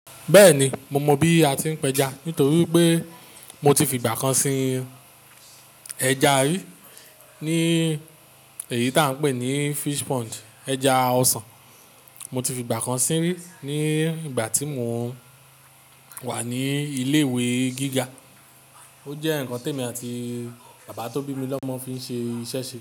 Bẹ́ẹ̀ni, mo mọ bí a ti ń pẹja nítorí pé mo ti fi ìgbà kan sin ẹja rí ní èyí tí à ń pè ní fish pond, ẹja ọsàn. Mo ti fi ìgbà kan sí rí ní ìgbà tí mo wà ní ilé ìwé gíga. Ó jẹ́ nǹkan tí èmi àti bàbá tó bí mi lọ́mọ fi ń ṣe iṣẹ́ se.